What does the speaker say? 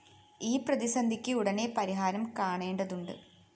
ഈ പ്രതിസന്ധിക്ക് ഉടനെ പരിഹാരം കാണേണ്ടതുണ്ട്